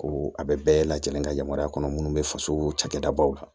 Ko a bɛ bɛɛ lajɛlen ka yamaruya kɔnɔ minnu bɛ faso cakɛdabaw la